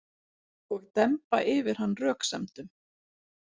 Og demba yfir hann röksemdum.